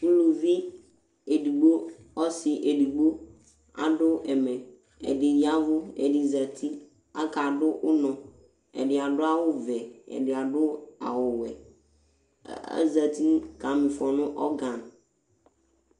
uluvi edigbo ɔsi edigbo adu ɛmɛ , ɛdi yavu, ɛdi zati, aka du unɔ , ɛdi adu awu vɛ, ɛdi adu awu wɛ, ava azati kamifɔ ɔga